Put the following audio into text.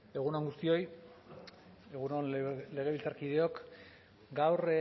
egun on guztioi egun on legebiltzarkideok gaur